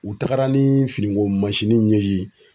U taga ni finiko nunnu ye yen